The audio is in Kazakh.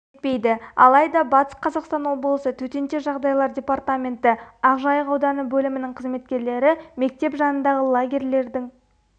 етпейді алайда батыс қазақстан облысы төтенша жағдайлар департаменті ақжайық ауданы бөлімінің қызметкерлері мектеп жанындағы лагерьлердің